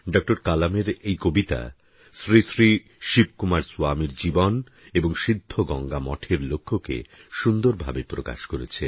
ডঃ কালামের এই কবিতা শ্রী শ্রী শিবকুমার স্বামীর জীবন এবং সিদ্ধগঙ্গামঠের লক্ষ্যকে সুন্দরভাবে প্রকাশ করেছে